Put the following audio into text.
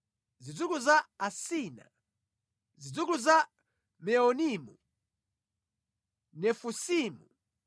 zidzukulu za Asina, zidzukulu za Meunimu, Nefusimu,